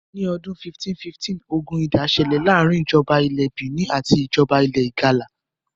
ní ọdún 1515, ogun ìdá ṣẹ̀lẹ̀ láàrin ìjọba ilẹ̀ Benin àti ìjoba ilẹ̀ ìgalà